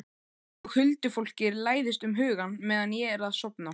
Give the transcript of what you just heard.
Og huldufólkið læðist um hugann meðan ég er að sofna.